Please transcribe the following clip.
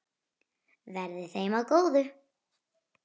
Verði þeim að góðu.